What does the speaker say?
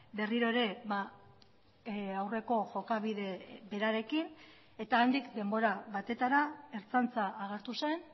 berriro ere aurreko jokabide berarekin eta handik denbora batetara ertzaintza agertu zen